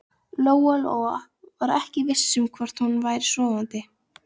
Lóa Lóa var ekki viss um hvort hún væri sofandi.